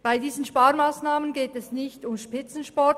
Bei diesen Sparmassnahmen geht es nicht um Spitzensport.